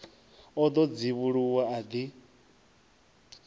o ḓo dzivhuluwa a ḓi